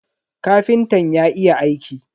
Kafintan ya iya aiki.